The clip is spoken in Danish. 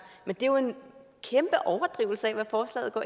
men det er jo en kæmpe overdrivelse af hvad forslaget går